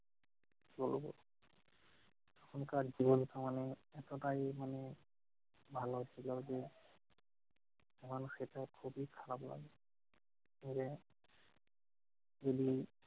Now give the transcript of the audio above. তো তখনকার জীবন তো মানে এতটাই মানে ভালো ছিল যে, এখন সেটা খুবই খারাপ লাগে। এরে বলি